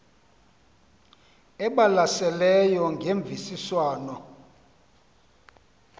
elibalasele ngemvisiswano r